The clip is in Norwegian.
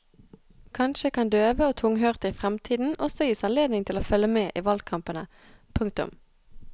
Kanskje kan døve og tunghørte i fremtiden også gis anledning til å følge med i valgkampene. punktum